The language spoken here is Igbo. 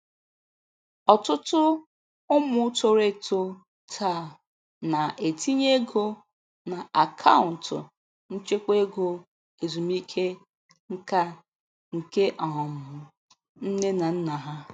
Ọtụtụ ụmụ toro eto taa na-etinye ego na akaụntụ nchekwa ego ezumike nka nke um nne na nna ha